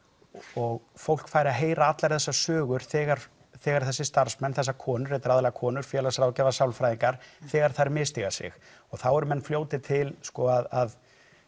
og fólk fær að heyra allar þessar sögur þegar þegar þessir starfsmenn þessar konur þetta eru aðallega konur félagsráðgjafar sálfræðingar þegar þær misstíga sig og þá eru menn fljótir til sko að